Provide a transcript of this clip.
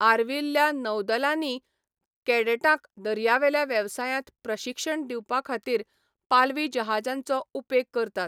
आर्विल्ल्या नौदलांनीय कॅडेटांक दर्यावेल्या वेवसायांत प्रशिक्षण दिवपाखातीर पालवी जहाजांचो उपेग करतात.